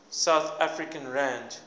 south african rand